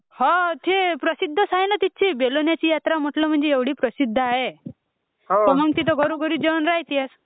हा थे प्रसिद्ध चा आहे ना तिथची बेलोण्याची यात्रा म्हणटल ,म्हणजे एवढा प्रसिद्ध आहे मग घरोघरी जेवण राहतिलच